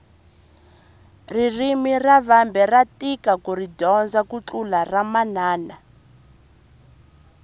ririmi ra vambe ra tika kuri dyondza ku tlula ramanana